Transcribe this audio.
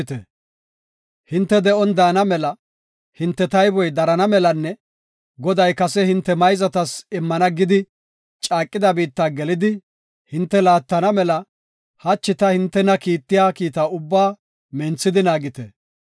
Hinte de7on daana mela, hinte tayboy darana melanne Goday kase hinte mayzatas immana gidi caaqida biitta gelidi, hinte laattana mela hachi ta hintena kiittiya kiita ubbaa minthidi naagite.